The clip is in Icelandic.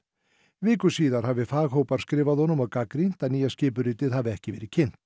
viku síðar hafi faghópar skrifað honum og gagnrýnt að nýja skipuritið hafi ekki verið kynnt